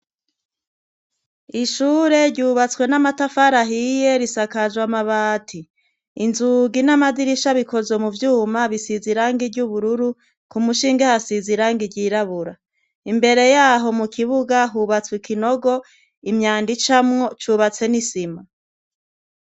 Ishure ryubatswe n'amatafarahiye risakajwe amabati inzugi n'amadirisha bikozwe mu vyuma bisiza irange ry'ubururu ku mushinge hasiza irange ryirabura imbere yaho mu kibuga hubatswe ikinogo imyanda icamwo cubatse n'isima.